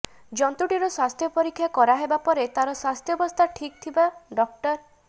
ଜନ୍ତୁଟିର ସ୍ୱାସ୍ଥ୍ୟ ପରୀକ୍ଷା କରାହେବା ପରେ ତାର ସ୍ୱାସ୍ଥ୍ୟାବସ୍ଥା ଠିକ ଥିବା ଡା